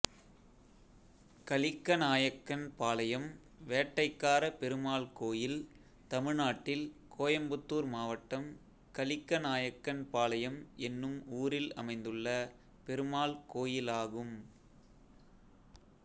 கலிக்கநாயக்கன்பாளையம் வேட்டைக்காரபெருமாள் கோயில் தமிழ்நாட்டில் கோயம்புத்தூர் மாவட்டம் கலிக்கநாயக்கன்பாளையம் என்னும் ஊரில் அமைந்துள்ள பெருமாள் கோயிலாகும்